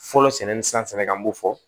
Fɔlɔ sɛnɛ ni san an b'o fɔ